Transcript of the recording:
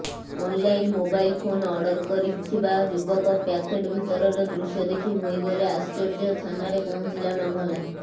online mobile phone order କରିଥିବା ଯୁବକ packet ଭିତରର ଦୃଶ୍ୟ ଦେଖି ହୋଇଗଲେ ଆଶ୍ଚର୍ଯ୍ୟ ଥାନାରେ ପହଞ୍ଚିଲା ମାମଲା